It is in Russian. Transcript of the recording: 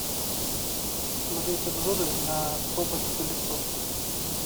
смотреть обзоры на робот пылесос